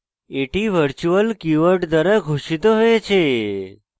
এটি virtual keyword দ্বারা ঘোষিত হয়েছে